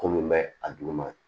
Ko min bɛ a duguma